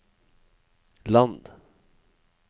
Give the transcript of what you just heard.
land